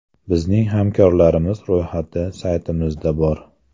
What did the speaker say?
Bizning hamkorlarimiz ro‘yxati saytimizda bor.